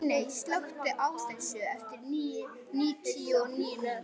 Líney, slökktu á þessu eftir níutíu og níu mínútur.